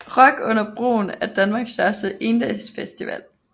Rock under Broen er Danmarks største endagsfestival